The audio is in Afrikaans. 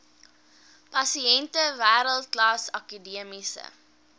pasiënte wêreldklas akademiese